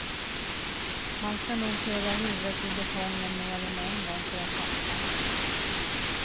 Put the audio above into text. Man ska nog köra huvudet i betongen mer än en gång för att fatta.